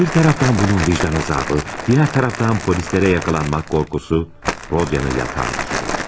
Bir tərəfdən bunun vicdan əzabı, digər tərəfdən polislərə yaxalanmaq qorxusu Rodyanı yatağa düşürür.